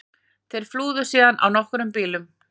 Þeir flúðu síðan á nokkrum bílum